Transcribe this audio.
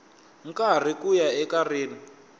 karhi ku ya eka rin